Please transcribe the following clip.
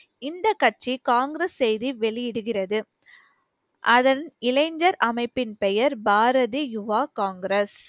இந்த கட்சி காங்கிரஸ் செய்தி வெளியிடுகிறது அதன் இளைஞர் அமைப்பின் பெயர் பாரதி யுவா காங்கிரஸ்